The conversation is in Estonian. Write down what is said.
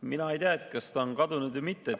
Mina ei tea, kas ta on kadunud või mitte.